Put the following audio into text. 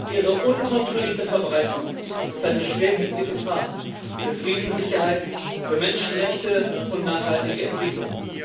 Ihre unkontrollierte Verbreitung ist eine schwerwiegende Gefahr für Frieden, Sicherheit, für Menschenrechte und nachhaltige Entwicklung.